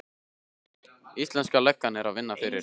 Íslenska löggan er að vinna fyrir